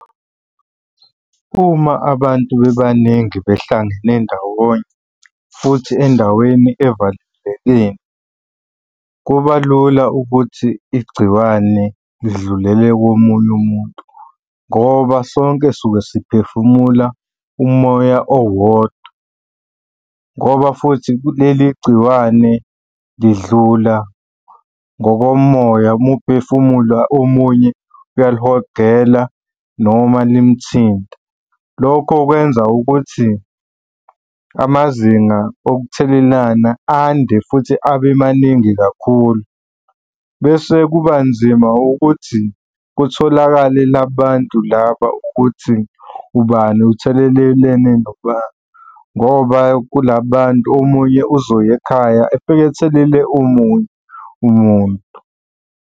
Uma abantu bebaningi behlangane ndawonye futhi endaweni evalelekile, kuba lula ukuthi igciwane lidlulele komunye umuntu ngoba sonke suke siphefumula umoya owodwa, ngoba futhi leli gciwane lidlula ngokomoya. Uma uphefumula omunye uyalihogele noma nimuthinta. Lokho kwenza ukuthi amazinga okuthelelana ande futhi abe maningi kakhulu, bese kuba nzima ukuthi kutholakale la bantu laba ukuthi ubani uthelelelene nobani ngoba kula bantu omunye uzoya ekhaya efike ethelele omunye umuntu.